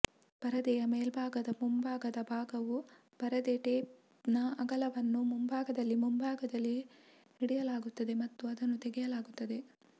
ಪರದೆಯ ಮೇಲ್ಭಾಗದ ಮುಂಭಾಗದ ಭಾಗವು ಪರದೆ ಟೇಪ್ನ ಅಗಲವನ್ನು ಮುಂಭಾಗದಲ್ಲಿ ಮುಂಭಾಗದಲ್ಲಿ ಹಿಡಿಯಲಾಗುತ್ತದೆ ಮತ್ತು ಅದನ್ನು ತೆಗೆಯಲಾಗುತ್ತದೆ